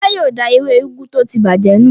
Fọlá yóò da ewé úgú tó ti bàjẹ́ nù.